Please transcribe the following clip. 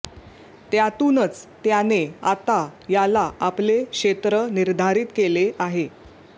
त्यातूनच त्याने आता याला आपले क्षेत्र निर्धारित केले आहे